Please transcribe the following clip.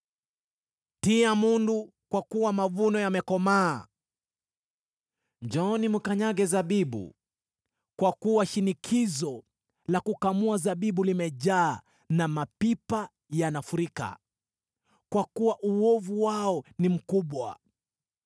Tia mundu, kwa kuwa mavuno yamekomaa. Njooni, mkanyage zabibu, kwa kuwa shinikizo la kukamua zabibu limejaa na mapipa yanafurika: kwa kuwa uovu wao ni mkubwa!”